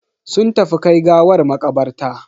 Sun tafi kai gawar makabarta.